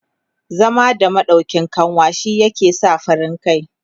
zama da maɗauƙin kanwa shi ke sa farin kai